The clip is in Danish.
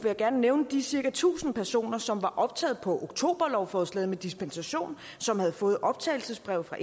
jeg gerne nævne de cirka tusind personer som var optaget på oktoberlovforslaget med dispensation som havde fået optagelsesbrev fra